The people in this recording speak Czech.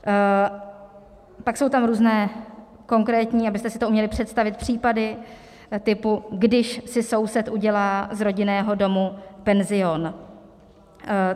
Pak jsou tam různé konkrétní, abyste si to uměli představit, případy typu: když si soused udělá z rodinného domu penzion.